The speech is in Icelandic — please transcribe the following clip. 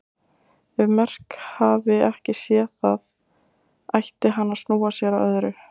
Ef Merk hafi ekki séð það ætti hann að snúa sér að öðru.